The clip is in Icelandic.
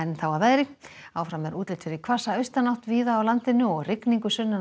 þá að veðri áfram er útlit fyrir hvassa austanátt víða á landinu og rigningu sunnan og